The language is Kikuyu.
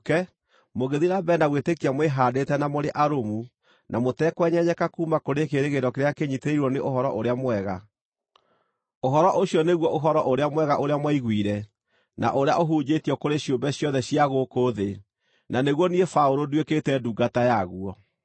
mũngĩthiĩ na mbere na gwĩtĩkia mwĩhaandĩte na mũrĩ arũmu, na mũtekwenyenyeka kuuma kũrĩ kĩĩrĩgĩrĩro kĩrĩa kĩnyiitĩrĩirwo nĩ Ũhoro-ũrĩa-Mwega. Ũhoro ũcio nĩguo Ũhoro-ũrĩa-Mwega ũrĩa mwaiguire, na ũrĩa ũhunjĩtio kũrĩ ciũmbe ciothe cia gũkũ thĩ, na nĩguo niĩ Paũlũ nduĩkĩte ndungata yaguo.